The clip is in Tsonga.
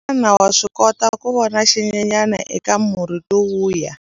Xana wa swi kota ku vona xinyenyana eka murhi lowuya?